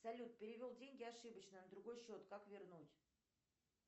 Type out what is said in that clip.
салют перевел деньги ошибочно на другой счет как вернуть